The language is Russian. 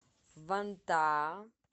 вантаа